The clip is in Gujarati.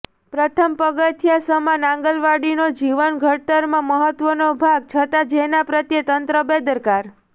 પ્રથમ પગથિયા સમાન આંગણવાડીનો જીવન ઘડતરમાં મહત્ત્વનો ભાગ છતાં જેના પ્રત્યે તંત્ર બેદરકાર